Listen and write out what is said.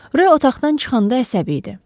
Rö otaqdan çıxanda əsəbi idi.